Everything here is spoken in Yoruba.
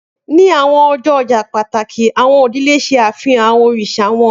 Ni awọn ọjọ ọja pataki, awọn idile ṣe afihan awọn oriṣa wọn